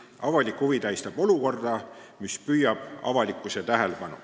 Avalik huvi tähistab olukorda, mis püüab avalikkuse tähelepanu.